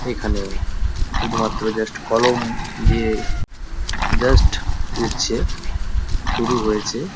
এখানে শুধু মাত্র জাস্ট কলম দিয়ে জাস্ট উঠছে। শুরু হয়েছে।